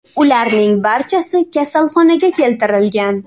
Ularning barchasi kasalxonaga keltirilgan.